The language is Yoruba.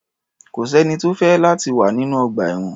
Kò sẹ́ni tó fẹ́ láti wà nínú ọgbà-ẹ̀wọ̀n.